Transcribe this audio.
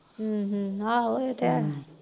ਹਮ ਹਮ ਆਹੋ ਇਹ ਤੇ ਹੈ